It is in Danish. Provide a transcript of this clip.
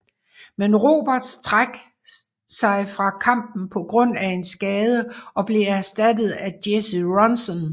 Men Roberts træk sig fra kampen på grund af en skade og blev erstattet af Jesse Ronson